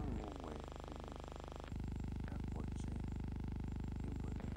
Alʋwɛ dɩnɩ kakpɔ ɔtsɛ kebuele